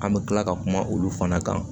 An bɛ tila ka kuma olu fana kan